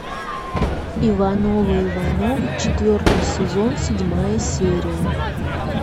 ивановы ивановы четвертый сезон седьмая серия